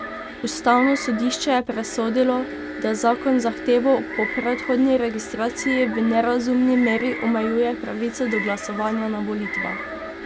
Ustavno sodišče je presodilo, da zakon z zahtevo po predhodni registraciji v nerazumni meri omejuje pravico do glasovanja na volitvah.